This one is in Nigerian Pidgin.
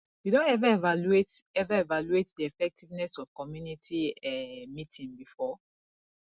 you don ever evaluate ever evaluate di effectiveness of community um meeting before